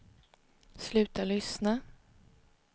sluta lyssna